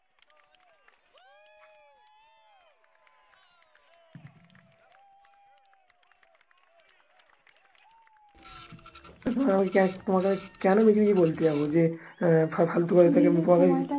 তোমাকে আমি তোমাকে আমি কেনো মিছেমিছি বলতে যাবো যে আহ ফালতু